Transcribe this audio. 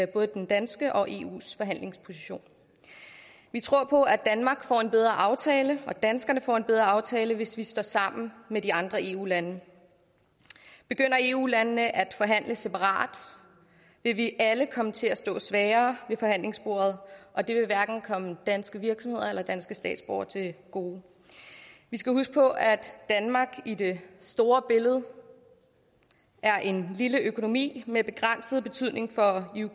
både den danske og eus forhandlingsposition vi tror på at danmark får en bedre aftale og at danskerne får en bedre aftale hvis vi står sammen med de andre eu lande begynder eu landene at forhandle separat vil vi alle komme til at stå svagere ved forhandlingsbordet og det vil hverken komme danske virksomheder eller danske statsborgere til gode vi skal huske på at danmark i det store billede er en lille økonomi med begrænset betydning for